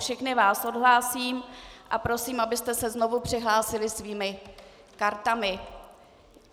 Všechny vás odhlásím a prosím, abyste se znovu přihlásili svými kartami.